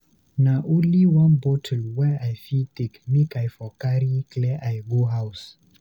Na only one bottle wey I fit take make I for carry clear eye go house.